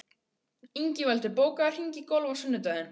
Ingveldur, bókaðu hring í golf á sunnudaginn.